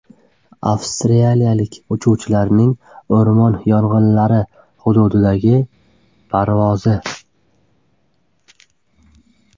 Avstraliyalik uchuvchilarning o‘rmon yong‘inlari hududidagi parvozi.